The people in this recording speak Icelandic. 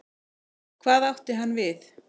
Hvað átti hann við?